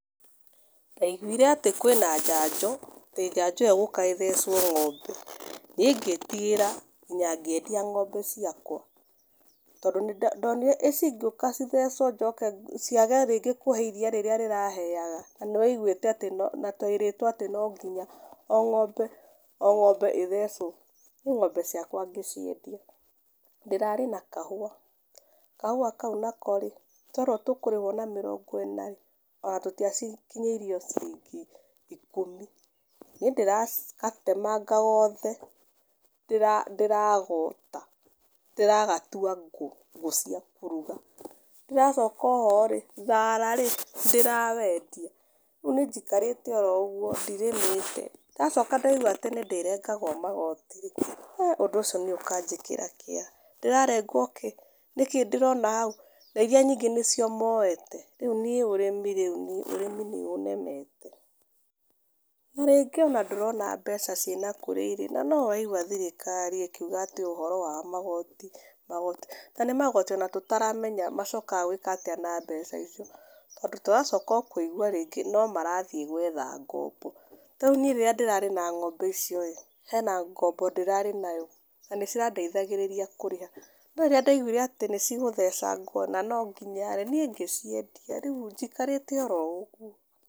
Ndaigũire atĩ kwĩna njanjo atĩ njanjo ĩyo ĩgũka ĩthecwo ng'ombe niĩ ngĩtigĩra kinya ngĩendia ng'ombe ciakwa, tondũ ndonire icigĩũka cithecwo njoke ciage rĩngĩ kũhe iria rĩra rĩraheaga? Na, nĩwaiguĩte twerĩtwo atĩ no ngiya o ng'ombe o ng'ombe ĩthecwo? Niĩ ng'ombe ciakwa ngĩciendia. Ndĩrarĩ na kahũa, kahũa kau nako-rĩ, twerwo tũkũrĩhwo na mĩrongo ĩna-rĩ, ona tũtiakinyĩirio ciringi ikũmi. Niĩ ndĩragatemanga gothe, ndĩragota ndĩragatua ngũ, ngũ cia kũruga. Ndĩracoka oho-rĩ, thara-rĩ ndĩrawendia, rĩu nĩnjikarĩte oro ũguo ndirĩmĩte. Ndacoka ndaigua atĩ nĩndĩrĩrengagwo magoti-rĩ, ũndũ ũcio niĩ ũkanjĩkĩra kĩeha. Ndĩrarengwo kĩĩ? Nĩkĩĩ ndĩrona hau? Na, iria nyingĩ nĩcio moete, rĩu niĩ ũrĩmi rĩu niĩ ũrĩmi nĩũnemete. Na, rĩngĩ ona ndũrona mbeca ciĩna kũrĩa irĩ, na no ũraigua thirikari ĩkiuga atĩ ũhoro wa magoti, magoti, na nĩ magoti ona tũtaramenya macokaga gwĩka atĩa na mbeca icio, tondũ tũracoka kũigua o rĩngĩ no marathiĩ gwetha ngombo. Tarĩu niĩ rĩrĩa ndĩrarĩ na ng'ombe icio-rĩ, he ngombo ndĩrarĩ nayo na nĩcirandeithagĩrĩria kũrĩha, no rĩrĩa ndaiguire atĩ nĩcigũthecangwo, na no nginya-rĩ, niĩ ngĩciendia, rĩu njikarĩte oro ũguo.